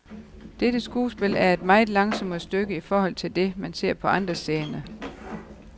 Dette skuespil er et meget langsommere stykke i forhold til det, man ser på andre scener.